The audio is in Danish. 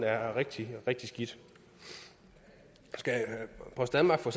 er rigtig rigtig skidt skal post danmark for